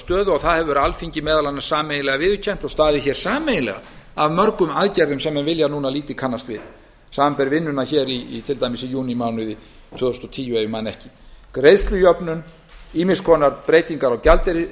stöðu og það hefur alþingi meðal annars sameiginlega viðurkennt og staðið hér sameiginlega að mörgum aðgerðum sem menn vilja núna lítið kannast við samanber vinnuna hér í til dæmis júnímánuði tvö þúsund og tíu ef mig misminnir ekki greiðslujöfnun ýmiss konar breytingar